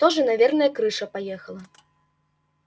тоже наверное крыша поехала